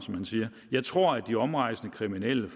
jeg tror at de omrejsende kriminelle